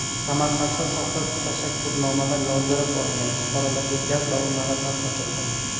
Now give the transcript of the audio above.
Samarqandda soxta tashakkurnomalar yozdirib olingan fuqarolarga gaz ballonlari tarqatildi.